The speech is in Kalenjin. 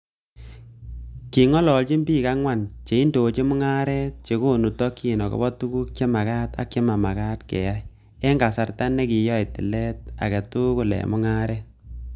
King'ololchini bik ang'wan che indochin mung'aret, che konu tokyin agobo tuguk che makat ak chemamakat keyai, en kasarta nekiyoe tilet egetugul en mung'aret.